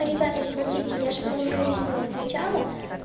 ребята смотрите я же вам уже объяснила сначала